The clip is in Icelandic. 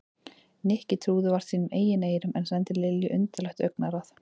Nikki trúði vart sínum eigin eyrum en sendi Lilju undarlegt augnaráð.